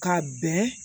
Ka bɛn